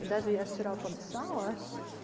и даже я вчера подышала